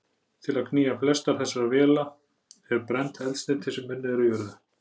Til að knýja flestar þessar vélar er brennt eldsneyti sem unnið er úr jörðu.